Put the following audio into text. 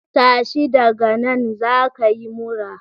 Tashi daga nan za ka yi mura